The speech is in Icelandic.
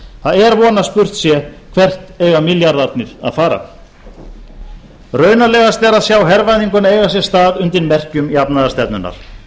það er von að spurt sé hvert eiga milljarðarnir að fara raunalegast er að sjá hervæðinguna eiga sér stað undir merkjum jafnaðarstefnunnar